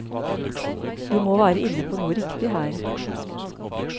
Vi må være inne på noe riktig her.